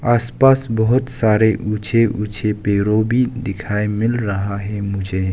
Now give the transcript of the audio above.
आस पास बहोत सारे ऊंचे ऊंचे पेड़ों भी दिखाई मिल रहा है मुझे।